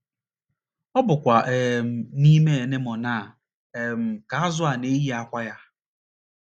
Ọ bụkwa um n’ime anemone a um ka azụ̀ a na - eyi àkwá ya.